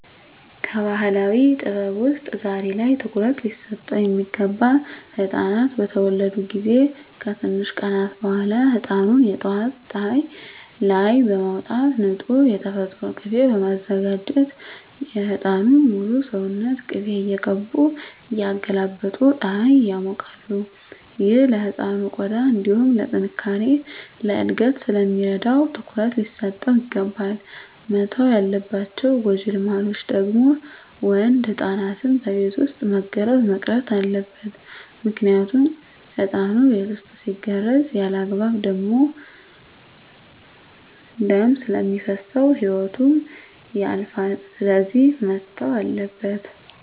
ከባህላዊ ጥበብ ውስጥ ዛሬ ላይ ትኩሩት ሊሰጠው ሚገባ ህፃናት በተወለዱ ጊዜ ከትንሽ ቀናት በኋላ ህፃኑን የጠዋት ፀሀይ ላይ በማውጣት ንፁህ የተፈጥሮ ቂቤ በማዘጋጀት የህፃኑን ሙሉ ሰውነት ቅቤ እየቀቡ እያገላበጡ ፀሀይ ያሞቃሉ። ይህ ለህፃኑ ቆዳ እንዲሁም ለጥነካሬ፣ ለእድገት ስለሚረዳው ትኩረት ሊሰጠው ይገባል። መተው ያለባቸው ጎጂ ልማዶች ደግሞ ወንድ ህፃናትን በቤት ውስጥ መገረዝ መቅረት አለበት ምክንያቱም ህፃኑ ቤት ውስጥ ሲገረዝ ያለአግባብ ደም ስለሚፈስሰው ህይወቱ ያልፋል ስለዚህ መተው አለበት።